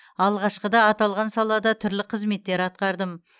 алғашқыда аталған салада түрлі қызметтер атқардым